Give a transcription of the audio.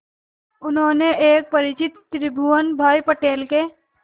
उन्होंने एक परिचित त्रिभुवन भाई पटेल के